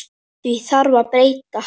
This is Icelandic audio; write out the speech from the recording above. Því þarf að breyta.